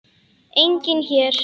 Enginn hér.